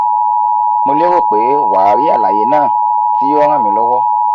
mo lérò pé wà á rí àlàyé náà tí yóò ràn mí lọ́wọ́